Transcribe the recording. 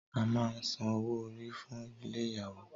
À máa ńsan owo-ori fun idile iyawo.